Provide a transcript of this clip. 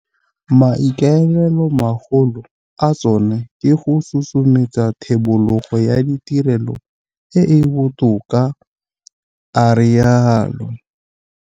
Maikaelelomagolo a tsona ke go susumetsa thebolo ya ditirelo e e botoka, a rialo.